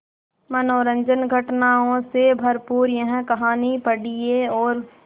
मनोरंजक घटनाओं से भरपूर यह कहानी पढ़िए और